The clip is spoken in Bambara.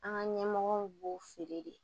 An ka ɲɛmɔgɔw b'o feere de